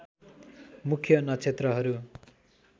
मुख्य नक्षत्रहरू